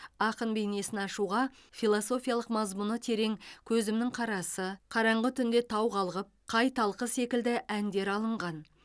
ақын бейнесін ашуға философиялық мазмұны терең көзімнің қарасы қараңғы түнде тау қалғып қай талқы секілді әндер алынған